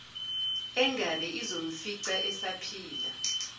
engabe izomfica esaphila